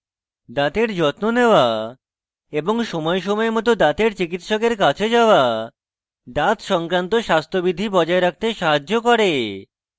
দাঁতের যত্ন নেওয়া এবং সময় সময় মত দাঁতের চিকিত্সকের কাছে যাওয়া দাঁত সংক্রান্ত স্বাস্থ্যবিধি বজায় রাখতে সাহায্য করে